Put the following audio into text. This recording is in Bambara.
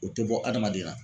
O tɛ bɔ adamaden na.